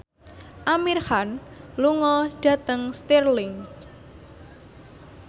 Amir Khan lunga dhateng Stirling